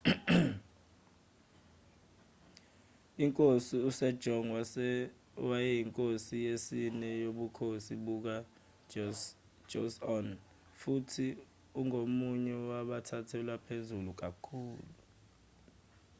inkosi u-sejong wayeyinkosi yesine yobukhosi buka-joseon futhi ungomunye wabathathelwa phezulu kakhulu